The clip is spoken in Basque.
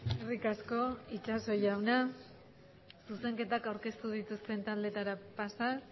eskerrik asko itxaso jauna zuzenketak aurkeztu dituzten taldeetara pasatuz